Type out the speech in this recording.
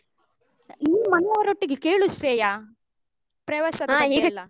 ನೀನು ಮನೆಯವರೊಟ್ಟಿಗೆ ಕೇಳು ಶ್ರೇಯ ಪ್ರವಾಸದ ಬಗ್ಗೆಯೆಲ್ಲ.